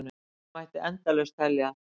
Þannig mætti endalaust telja.